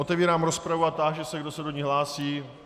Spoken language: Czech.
Otevírám rozpravu a táži se, kdo se do ní hlásí.